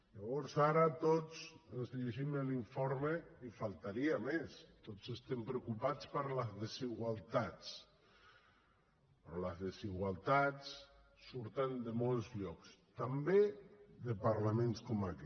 llavors ara tots ens llegim l’informe i només faltaria tots estem preocupats per les desigualtats però les desigualtats surten de molts llocs també de parlaments com aquest